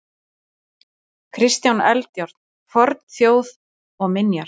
Kristján Eldjárn: Fornþjóð og minjar.